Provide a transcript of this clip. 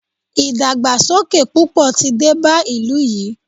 ìdàgbàsókè púpọ̀ tí dé bá ìlú yìí.